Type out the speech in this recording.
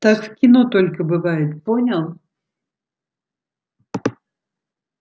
так в кино только бывает понял